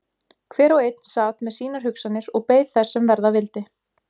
Hver og einn sat með sínar hugsanir og beið þess sem verða vildi.